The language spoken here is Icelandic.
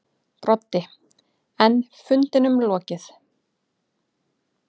Broddi: En fundinum lokið.